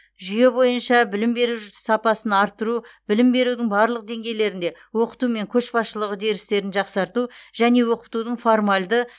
жүйе бойынша білім беру жжс сапасын арттыру білім берудің барлық деңгейлерінде оқыту мен көшбасшылық үдерістерін жақсарту және оқытудың формальды